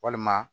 Walima